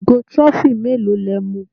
Ìgò trophy mélòó lẹ mu?